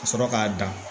Ka sɔrɔ k'a dan